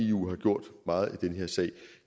eu har gjort meget i den her sag